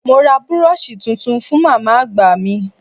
Mo ra búróóṣì tuntun fú màmá àgbà mi.